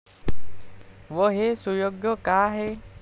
व हे सुयोग्य का आहे?